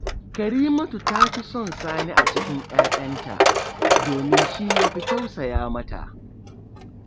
Karimatu ta fi son Sani a cikin ‘ya’yanta, domin shi ya fi tausaya mata